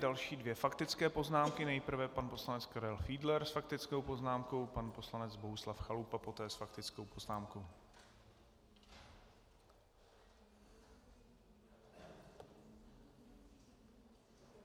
Další dvě faktické poznámky, nejprve pan poslanec Karel Fiedler s faktickou poznámkou, pan poslanec Bohuslav Chalupa poté s faktickou poznámkou.